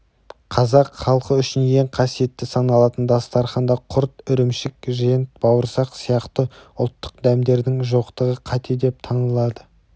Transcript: қазақ халқы үшін ең қасиетті саналатын дастарханда құрт ірімшік жент бауырсақ сияқты ұлттық дәмдердің жоқтығы қате деп танылды